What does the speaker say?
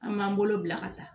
An m'an bolo bila ka taa